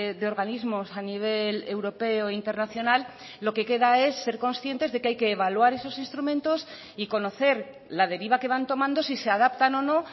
de organismos a nivel europeo internacional lo que queda es ser conscientes de que hay que evaluar esos instrumentos y conocer la deriva que van tomando si se adaptan o no